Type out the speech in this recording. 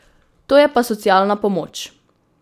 To je pa socialna pomoč.